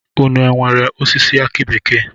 Ụnụ nwèrè osisi aki bekee?